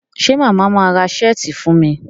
ṣe Mama má rà Ṣẹ́ẹ̀tì fún mí?